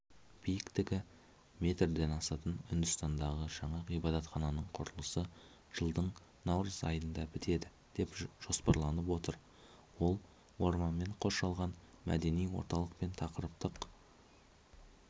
биіктігі метрден асатын үндістандағы жаңа ғибадатхананың құрылысы жылдың наурыз айында бітеді деп жоспарланып отыр ол орманмен қоршалған мәдени орталық пен тақырыптық